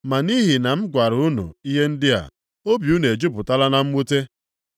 Ma nʼihi na m gwara unu ihe ndị a, obi unu ejupụtala na mwute.